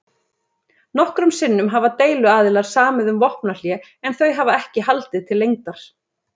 Nokkrum sinnum hafa deiluaðilar samið um vopnahlé en þau hafa ekki haldið til lengdar.